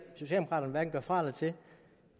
hverken gøre fra eller til